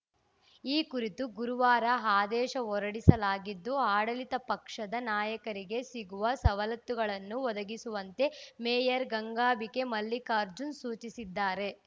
ಈ ಕುರಿತು ಗುರುವಾರ ಆದೇಶ ಹೊರಡಿಸಲಾಗಿದ್ದು ಆಡಳಿತ ಪಕ್ಷದ ನಾಯಕರಿಗೆ ಸಿಗುವ ಸವಲತ್ತುಗಳನ್ನು ಒದಗಿಸುವಂತೆ ಮೇಯರ್‌ ಗಂಗಾಬಿಕೆ ಮಲ್ಲಿಕಾರ್ಜುನ್‌ ಸೂಚಿಸಿದ್ದಾರೆ